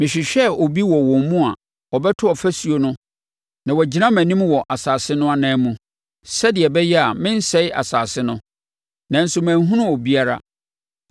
“Mehwehwɛɛ obi wɔ wɔn mu a ɔbɛto ɔfasuo no na wagyina mʼanim wɔ asase no anan mu, sɛdeɛ ɛbɛyɛ a merensɛe asase no, nanso manhunu obiara.